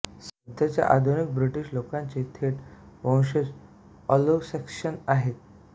सध्याच्या आधुनिक ब्रिटिश लोकांचे थेट वंशज एंग्लोसॅक्सन आहेत